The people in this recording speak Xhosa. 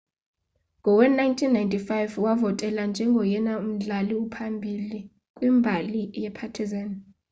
ngowe-1995 wavotelwa njengoyena mdlali uhamba phambili kwimbali yepartizan